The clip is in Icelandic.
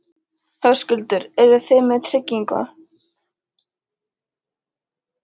Höskuldur: Eru þið með tryggingu?